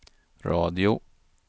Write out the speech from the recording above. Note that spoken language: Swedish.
radio